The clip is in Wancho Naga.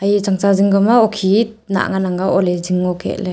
e tsang tsa zing ka ma okhi nah ngan ang a okhi ole zing ngo kek le.